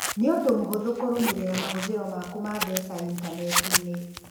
Nĩ ũndũ mũhũthũ kũrũmĩrĩra mahũthĩro maku ma mbeca intaneti-inĩ.